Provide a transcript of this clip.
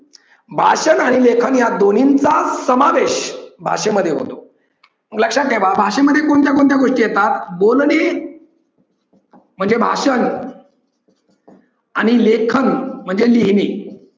भाषण आणि लेखन या दोन्हींचा समावेश भाषेमध्ये होतो. लक्षात ठेवा. भाषेमध्ये कोणत्या कोणत्या गोष्टी येतात बोलणे म्हणजे भाषण आणि लेखन म्हणजे लिहिणे.